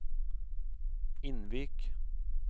Innvik